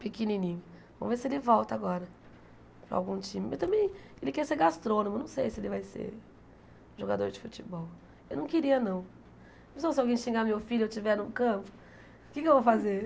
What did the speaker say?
pequenininho, vamos ver se ele volta agora para algum time, mas também ele quer ser gastrônomo, não sei se ele vai ser jogador de futebol, eu não queria não, pensou se alguém xingar meu filho e eu estiver no campo, o que é que eu vou fazer?